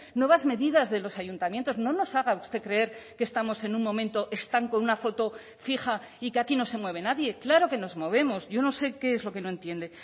nuevas medidas de los ayuntamientos no nos haga usted creer que estamos en un momento están con una foto fija y que aquí no se mueve nadie claro que nos movemos yo no sé qué es lo que no entiende